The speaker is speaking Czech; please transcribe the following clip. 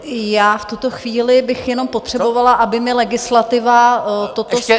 Já v tuto chvíli bych jenom potřebovala, aby mi legislativa toto stanovisko...